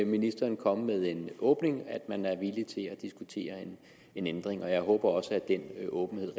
ministeren komme med en åbning at man var villig til at diskutere en ændring og jeg håber også at det er en åbenhed